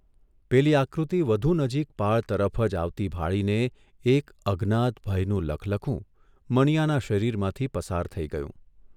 પેલી આકૃતિ વધુ નજીક પાળ તરફ જ આવતી ભાળીને એક અજ્ઞાત ભયનું લખલખું મનીયાના શરીરમાંથી પસાર થઇ ગયું.